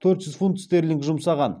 төрт жүз фунт стерлинг жұмсаған